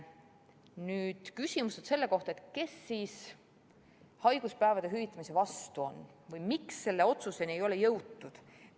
Nüüd küsimus, kes haiguspäevade hüvitamise vastu on või miks sellele otsusele ei jõutud.